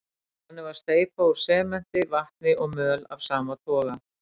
Þannig er steypa úr sementi, vatni og möl af sama toga.